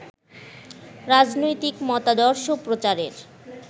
রাজনৈতিক মতাদর্শ প্রচারের